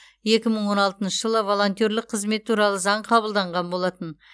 екі мың он алтыншы жылы волонтерлік қызмет туралы заң қабылданған болатын